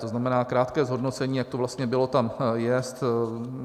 To znamená krátké zhodnocení, jak to vlastně bylo, tam jest.